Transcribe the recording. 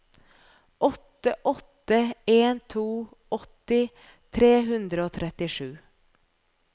åtte åtte en to åtti tre hundre og trettisju